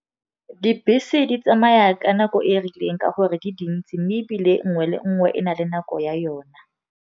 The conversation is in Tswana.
Dibese di tsamaya ka nako e rileng ka gore di dintsi, mme ebile nngwe le nngwe e na le nako ya yona.